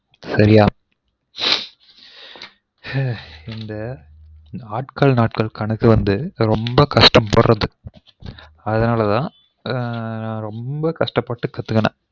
அஹ் இந்த ஆட்கள் நாட்கள் கணக்கு வந்து ரொம்ப கஷ்டபட்றது அதுனால தான் ரொம்ப கஷ்டப்பட்டு கத்துகுனன் சரியா